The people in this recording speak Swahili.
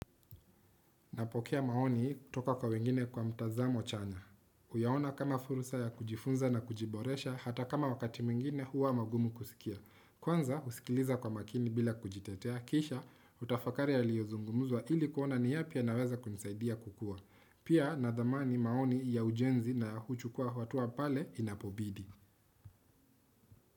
Napokea maoni kutoka kwa wengine kwa mtazamo chanya. Huyaona kama fursa ya kujifunza na kujiboresha, hata kama wakati mwingine huwa magumu kusikia. Kwanza husikiliza kwa makini bila kujitetea, kisha hutafakari yaliyozungumuzwa ili kuona ni yapi yanaweza kunisaidia kukua. Pia nadhamani maoni ya ujenzi na huchukua hatua pale inapobidi.